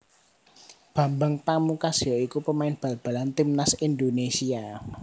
Bambang Pamungkas ya iku pamain bal balan timnas Indonésia